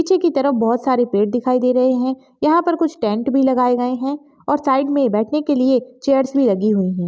पीछे की तरफ बहुत सारे पेड़ दिखाई दे रहे है यहा पर कुछ टेंट भी लगाए गए है और साइड मे बैठने के लिए चेअर्स भी लगी हुई है।